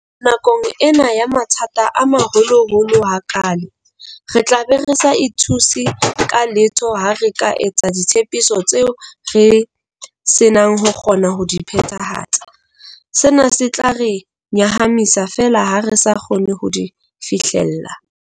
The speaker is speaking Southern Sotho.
Nakong ena ya mathata a maholoholo ha kaale, re tlabe re sa ithuse ka letho ha re ka etsa ditshepiso tseo re senang ho kgona ho di phethahatsa, sena se tla re nyahamisa feela ha re sa kgone ho di fihlella.